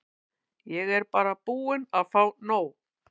Ég er bara búin að fá nóg.